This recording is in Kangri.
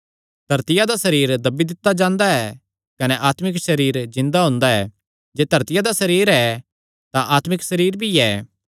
धरतिया दा सरीर दब्बी दित्ता जांदा ऐ कने अत्मिक सरीर जिन्दा हुंदा ऐ जे धरतिया दा सरीर ऐ तां आत्मिक सरीर भी ऐ